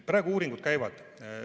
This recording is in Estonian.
Praegu uuringud käivad.